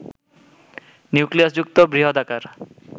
নিউক্লিয়াসযুক্ত বৃহদাকার